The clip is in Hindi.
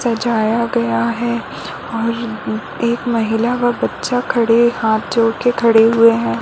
सजाया गया है और और एक महिला और एक बच्चा खड़े हाथ जोड़ के खड़े हुए है।